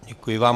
Děkuji vám.